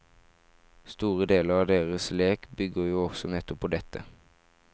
Store deler av deres lek bygger jo også nettopp på dette.